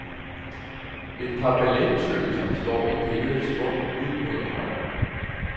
Et par ballettøser står i billedets bund ud mod højre.